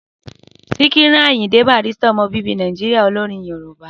Síkírù Àyìndé Barrister ọmọ bíbí Nàìjíríyà olórin yoòbá